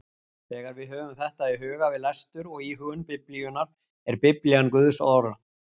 Þegar við höfum þetta í huga við lestur og íhugun Biblíunnar er Biblían Guðs orð.